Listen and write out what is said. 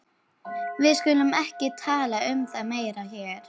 Við skulum ekki tala um það meira hér.